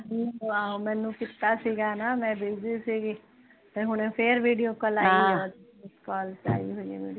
ਮੈਨੂੰ ਕੀਤਾ ਸੀਗਾ ਨਾ ਮੈ ਬਿਜ਼ੀ ਸੀਗੀ ਤੇ ਹੁਣ ਫੇਰ ਵੀਡੀਓ ਕਾਲ